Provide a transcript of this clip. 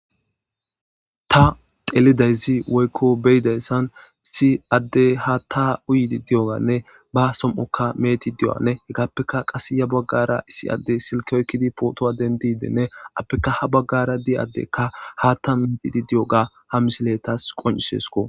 ta telidayzi woykko beyidayssan issi addey hata uyidi di7oganne ba som7okka meeti diy7o7anne hegappeka qase ya baggara issi adde silke oykkidi pootoa denti deenne appeka ha baggara di7adekka hata metidi di7oga ha misiletas qoncisesko